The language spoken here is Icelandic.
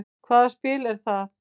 Hvað spil er það?